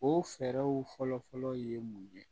O fɛɛrɛw fɔlɔ fɔlɔ ye mun ye